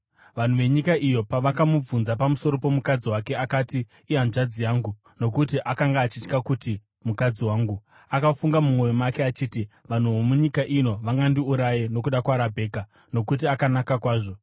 Vanhu venyika iyo pavakamubvunza pamusoro pomukadzi wake, akati, “Ihanzvadzi yangu,” nokuti akanga achitya kuti, “Mukadzi wangu.” Akafunga mumwoyo make achiti, “Vanhu vomunyika muno vangandiuraye nokuda kwaRabheka, nokuti akanaka kwazvo.”